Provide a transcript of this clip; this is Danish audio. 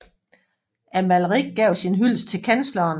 Amalrik gav sin hyldest til kansleren